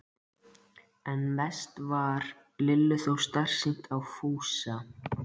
En mest varð Lillu þó starsýnt á Fúsa.